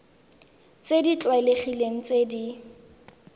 tse di tlwaelegileng tse di